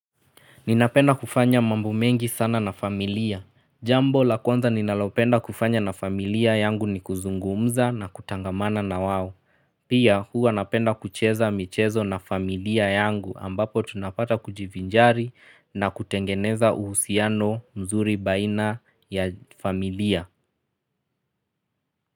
Ninapenda kufanya mambo mengi sana na familia. Jambo la kwanza ninalopenda kufanya na familia yangu ni kuzungumza na kutangamana na wao. Pia huwa napenda kucheza michezo na familia yangu ambapo tunapata kujivinjari na kutengeneza uhusiano mzuri baina ya familia.